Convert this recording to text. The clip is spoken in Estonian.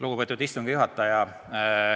Lugupeetud istungi juhataja!